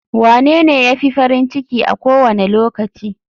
Wanene ya fi farin ciki a kowane lokaci?